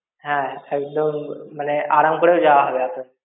হ্যাঁ, একদম. মানে, আরাম করেও যাওয়া হবে আপনাদের।